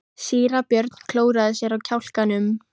Síra Björn klóraði sér á kjálkanum.